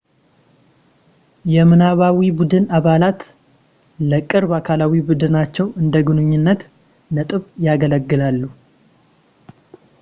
የምናባዊ ቡድን አባላት ለቅርብ አካላዊ ቡድናቸው እንደ ግንኙነት ነጥብ ያገለግላሉ